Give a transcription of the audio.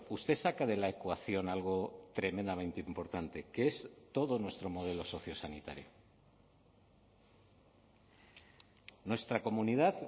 usted saca de la ecuación algo tremendamente importante que es todo nuestro modelo sociosanitario nuestra comunidad